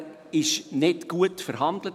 Da wurde nicht gut verhandelt.